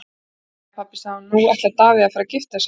Jæja pabbi, sagði hún, nú ætlar Davíð að fara að gifta sig.